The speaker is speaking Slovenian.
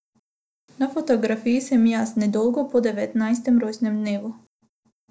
Na fotografiji sem jaz, nedolgo po devetnajstem rojstnem dnevu.